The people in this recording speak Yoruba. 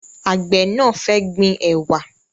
Àgbẹ̀ náà fẹ́ gbin ẹ̀wà